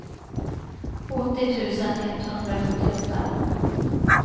åttio tusen etthundrasjuttioåtta